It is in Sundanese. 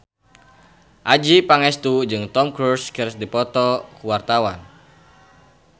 Adjie Pangestu jeung Tom Cruise keur dipoto ku wartawan